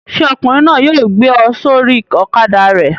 Ṣé ọkùnrin náà yóò gbé ọ sórí ọ̀kadà rẹ̀?